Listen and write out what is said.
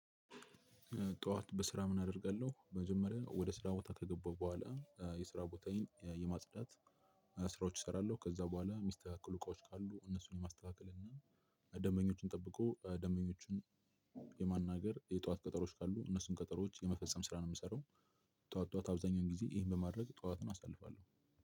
ጠዋት በስራ ምን አደርጋለሁ፤ መጀመሪያ ወደ ስራ ቦታ ከገባሁ በኋላ የስራ ቦታዬን የማጽዳት ስራዎች እሰራለሁ፤ ከዛ በኋላ ሚስተካከሉ እቃዎች ካሉ፤ እነሱን ማስተካከልና ደንበኞችን ጠብቆ ደመኞችን የማናገር የጧት ቀጠሮዎች ካሉ እነሱን ቀጠሮዎች የመፈጸም ስራ ነው የምሰራው፤ ጧት ጧት አብዛኛውን ጊዜ ይሄን በማድረግ ጠዋትን አሳልፋለሁ፤